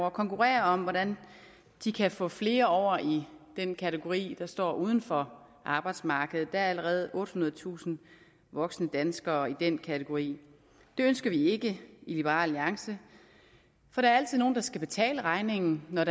at konkurrere om hvordan de kan få flere over i den kategori der står uden for arbejdsmarkedet der er allerede ottehundredetusind voksne danskere i den kategori det ønsker vi ikke i liberal alliance for der er altid nogle der skal betale regningen når